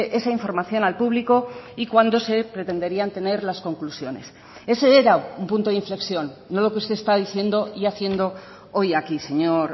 esa información al público y cuándo se pretenderían tener las conclusiones ese era un punto de inflexión no lo que usted está diciendo y haciendo hoy aquí señor